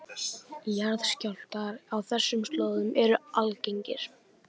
Jarðskjálftar á þessum slóðum eru algengir